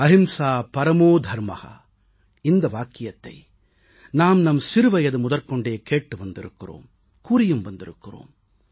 அஹிம்சை பரமோதர்ம இந்த வாக்கியத்தை நாம் நம் சிறுவயது முதற்கொண்டே கேட்டு வந்திருக்கிறோம் கூறியும் வந்திருக்கிறோம்